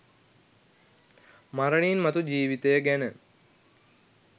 මරණින් මතු ජීවිතය ගැන